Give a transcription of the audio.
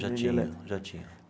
Já tinha, já tinha.